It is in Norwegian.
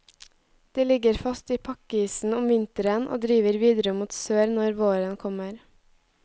De ligger fast i pakkisen om vinteren og driver videre mot sør når våren kommer.